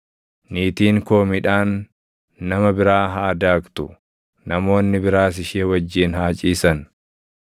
niitiin koo midhaan nama biraa haa daaktu; namoonni biraas ishee wajjin haa ciisan.